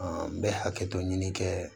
n bɛ hakɛtɔ ɲini kɛ